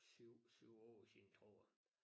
7 7 år siden tror jeg